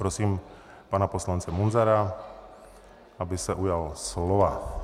Prosím pana poslance Munzara, aby se ujal slova.